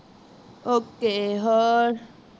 okay ਹੋਰ